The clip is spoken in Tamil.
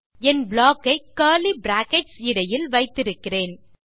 என் ப்ளாக் ஐ கர்லி பிராக்கெட்ஸ் இடையில் வைத்திருக்கிறேன்